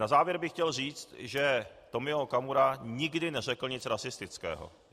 Na závěr bych chtěl říci, že Tomio Okamura nikdy neřekl nic rasistického.